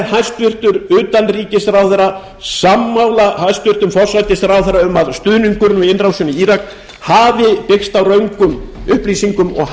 hæstvirtur utanríkisráðherra sammála hæstvirtum forsætisráðherra um að stuðningur við innrásina í írak hafi byggst á röngum upplýsingum og